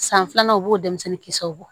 San filanan o b'o denmisɛnnin kisɛw bɔ